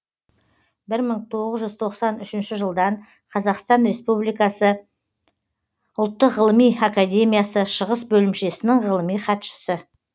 мың тоғыз жүз тоқсан үшінші жылдан қазақстан республикасы ұлттық ғылым академиясы шығыс бөлімшесінің ғылыми хатшысы